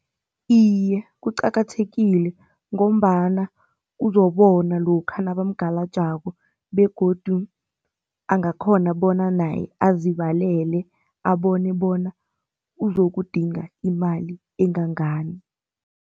Iye kuqakathekile, ngombana uzobona lokha nabamgalajako begodu angakhona bona naye azibalele abone bona uzokudinga imali engangani.